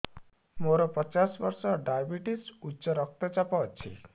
ମୋର ପଚାଶ ବର୍ଷ ଡାଏବେଟିସ ଉଚ୍ଚ ରକ୍ତ ଚାପ ଅଛି